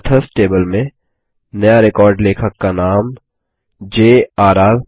authors table में नया record लेखक का नाम jrर